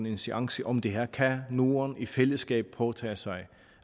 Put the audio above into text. en seance om det her kan norden i fællesskab påtage sig